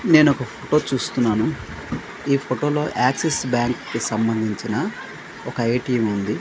నేనొక ఫొటో చూస్తున్నాను ఈ ఫొటో లో యాక్సిస్ బ్యాంక్ కి సంబంధించిన ఒక ఏ_టీ_ఎం ఉంది.